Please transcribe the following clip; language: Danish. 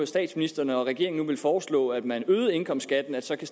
statsministeren og regeringen nu vil foreslå at man øger indkomstskatten så kan